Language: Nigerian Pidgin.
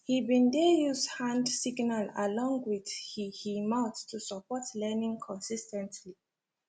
he been dey use hand signal along with he he mouth to support learning consis ten tly